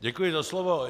Děkuji za slovo.